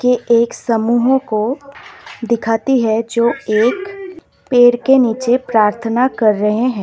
ये एक समूहों को दिखाती है जो एक पेड़ के नीचे प्रार्थना कर रहे हैं।